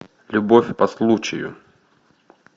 любовь по случаю